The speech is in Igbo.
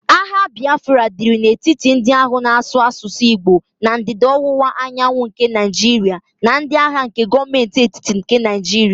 Agha Bịafra dịrị n'etiti ndị ahụ na-asụ asụsụ Igbo na Ndịda-Ọwụwa Anyanwụ nke Naịjiria na ndi agha nke Gọọmentị etiti nke Naịjiria